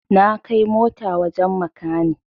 Na kai mota wajen makani